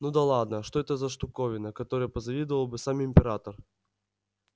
ну да ладно что это за штуковина которой позавидовал бы сам император